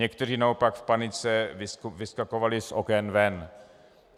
Někteří naopak v panice vyskakovali z oken ven.